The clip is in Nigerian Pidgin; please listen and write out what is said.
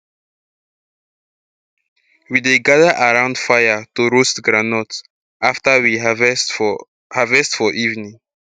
we dey gather around fire to roast groundnut after we harvest for harvest for evening